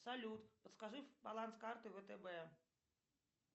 салют подскажи баланс карты втб